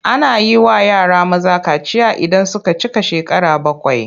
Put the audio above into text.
Ana yi wa yara maza kaciya idan sun cika shekara bakwai.